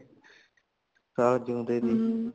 ਤਾਂ ਜਿਉਂਦੇ ਸੀ